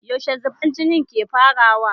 Yaushe zubar jini ke farawa?